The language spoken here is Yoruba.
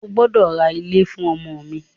O gbọ́dọ̀ ra ilé fún ọmọ mi!